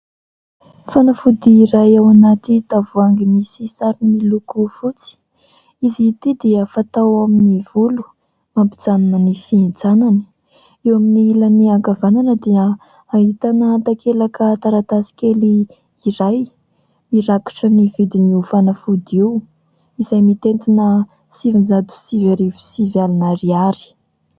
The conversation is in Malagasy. Fanafody iray ao anaty tavoahangy misy sarony loko fotsy. Izy ity dia fatao ao amin'ny volo mampijanona ny fihintsanany. Eo amin'ny ilany ankavanana dia ahitana takelaka taratasy kely iray mirakitra ny vidiny io fanafody io izay mitentina sivinjato sivy arivo sivy alina ariary.